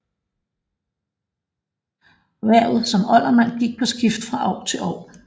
Hvervet som oldermand gik på skift fra år til år